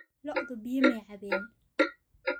Lo'du biyo ma cabbeen?